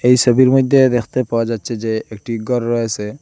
এই সোবির মইধ্যে দেখতে পাওয়া যাচ্ছে যে একটি গর রয়েসে।